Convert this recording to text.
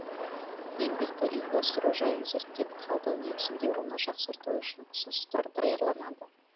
еңбекті ұйымдастыру жайын зерттеп талдау негізінде оны жақсарту үшін ұсыныстар даярланады